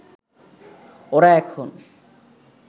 ওরা এখন